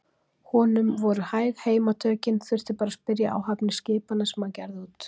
Honum voru hæg heimatökin, þurfti bara að spyrja áhafnir skipanna sem hann gerði út.